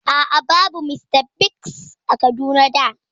A'a, babu Mr Biggs a Kaduna da